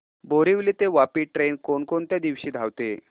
बोरिवली ते वापी ट्रेन कोण कोणत्या दिवशी धावते